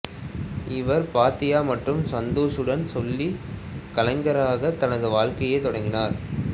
இவர் பாத்தியா மற்றும் சந்தூஷ் உடன் சொல்லிசைக் கலைஞராக தனது வாழ்க்கையைத் தொடங்கினார்